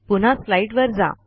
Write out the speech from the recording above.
पुन्हा स्लाईडवर जा